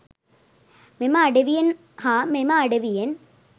මෙම අඩවියෙන් හා මෙම අඩවියෙන්